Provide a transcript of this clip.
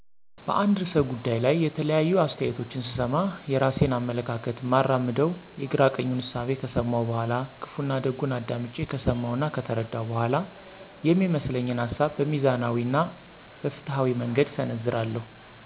በአንድ ርዕሰ ጉዳይ ላይ የተለያዩ አስተያየቶችን ስሰማ፣ የራሴን አመለካከት እማራምደው የግራ ቀኙን እሳቤ ከሰመው በኋላ፣ ክፋና ደጉን አዳምጨ ከሰመው እና ከተረደው በኋላ፤ የሚመስለኝን ሀሳብ በሚዛናዊ እና በፋትሀዊ መንገድ እሰነዝራለሁ።